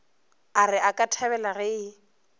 a re akathabela ge e